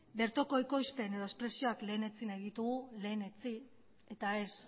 bertoko ekoizpen eta espresioak lehenetsi nahi ditugu lehenetsi eta ez